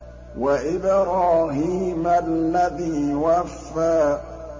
وَإِبْرَاهِيمَ الَّذِي وَفَّىٰ